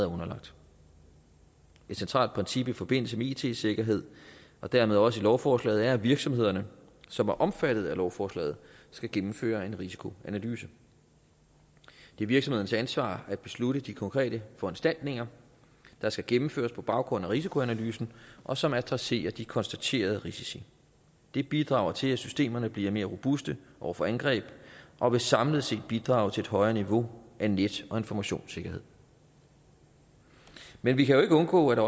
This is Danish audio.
underlagt et centralt princip i forbindelse med it sikkerhed og dermed også i lovforslaget er at virksomhederne som er omfattet af lovforslaget skal gennemføre en risikoanalyse det er virksomhedens ansvar at beslutte de konkrete foranstaltninger der skal gennemføres på baggrund af risikoanalysen og som adresserer de konstaterede risici det bidrager til at systemerne bliver mere robuste over for angreb og vil samlet set bidrage til et højere niveau af net og informationssikkerhed men vi kan jo ikke undgå at